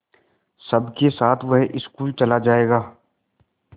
सबके साथ वह स्कूल चला जायेगा